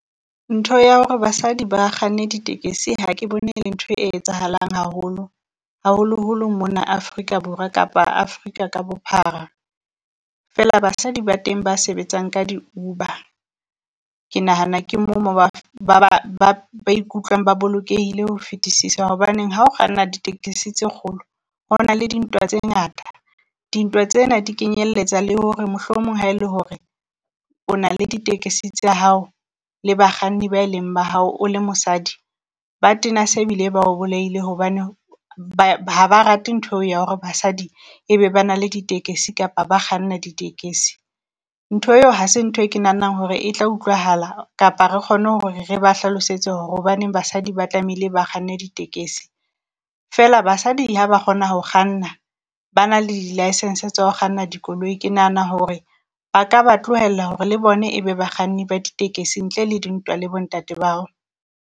Ntho ya hore basadi ba kganne ditekesi ha ke bone le ntho e etsahalang haholo, haholo holo mona Afrika Borwa kapa Africa ka bophara, fela basadi ba teng ba sebetsang ka di-Uber. Ke nahana ke mo mo ba ba ba ba ba ikutlwang ba bolokehile ho fetisisa, hobaneng ha o kganna ditekesi tse kgolo ho na le dintwa tse ngata. Dintwa tsena di kenyelletsa le hore mohlomong ha e le hore o na le ditekesi tsa hao le bakganni ba leng ba hao, o le mosadi ba tena se bile ba o bolaile. Hobane ba ha ba rate ntho eo ya hore basadi ebe ba na le ditekesi kapa ba kganna ditekesi. Ntho eo hase ntho e ke nahanang hore e tla utlwahala kapa re kgone hore re ba hlalosetse hore hobaneng basadi ba tlamehile ba kganne ditekesi. Fela basadi ha ba kgona ho kganna ba na le di-licence tsa ho kganna dikoloi ke nahana hore ba ka ba tlohela hore le bone e be bakganni ba ditekesi ntle le dintwa le bo ntate bao.